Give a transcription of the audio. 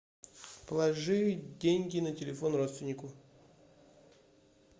положи деньги на телефон родственнику